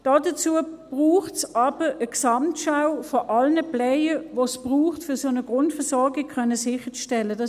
Dazu braucht es aber eine Gesamtschau aller Player, die es braucht, um eine solche Grundversorgung sicherstellen zu können: